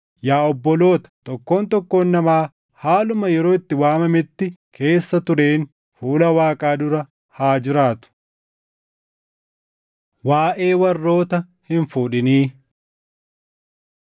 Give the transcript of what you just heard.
Yaa obboloota, tokkoon tokkoon namaa haaluma yeroo itti waamametti keessa tureen fuula Waaqaa dura haa jiraatu. Waaʼee Warroota Hin fuudhinii